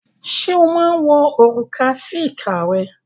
Ṣé ó máa ń wọ òrùka sí ìka rẹ̀?